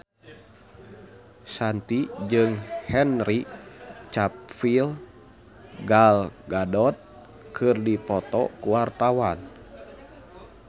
Shanti jeung Henry Cavill Gal Gadot keur dipoto ku wartawan